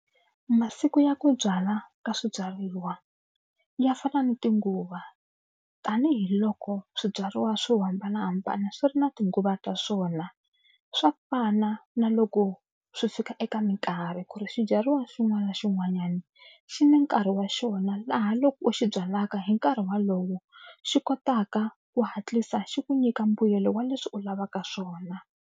Masiku ya ku byala ka swibyariwa ya fana na tinguva tanihiloko swibyariwa swo hambanahambana swi ri na tinguva ta swona swa fana na loko swi fika eka mikarhi ku ri swibyariwa xin'wana na xin'wanyana xi na nkarhi wa xona laha loko u xi byalaka hi nkarhi wolowo xi kotaka ku hatlisa xi ku nyika mbuyelo wa leswi u lavaka swona.